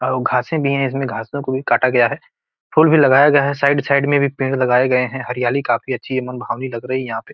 और घासें भी हैं इसमें घासों को भी काटा गया है। फूल भी लगाया गया है साइड साइड में पेड़ भी लगाया है हरियाली काफी अच्छी है मनभावनी लग रही है यहाँ पर।